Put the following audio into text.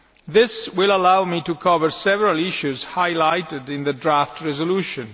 This will allow me to cover several issues highlighted in the draft resolution.